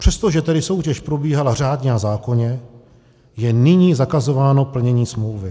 Přestože tedy soutěž probíhala řádně a zákonně, je nyní zakazováno plnění smlouvy.